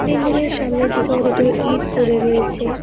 বিল্ডিংএর সামনের দিকে অনেকগুলো ইট পড়ে রয়েছে।